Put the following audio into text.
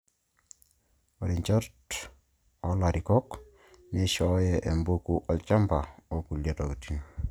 Ore injot oo larikok neishooyo empeku olchamba okulie tokiting'